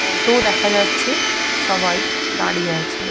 Auto ও দেখা যাচ্ছে। সবাই দাঁড়িয়ে আছে।